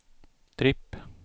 tripp